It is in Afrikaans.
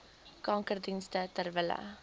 kankerdienste ter wille